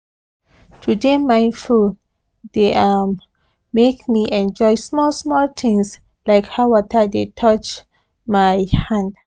to dey mindful dey um make me enjoy small small things like how water dey touch um my hand